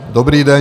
Dobrý den.